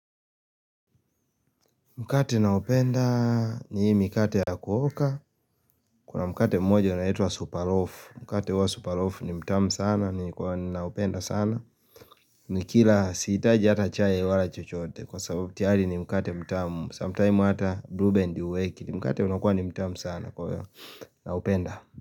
Mkate na upenda ni mkate ya kuoka Kuna mkate mmoja unaitwa super loaf Mkate wa super loaf ni mtamu sana ni kwa na upenda sana ni kila sihitaji hata chai wala chochote Kwa sababu tiyari ni mkate mtamu Sometime hata blue band huwekili Mkate unakua ni mtamu sana kwa na upenda.